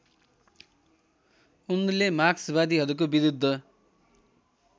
उनले मार्क्सवादीहरूको विरुद्ध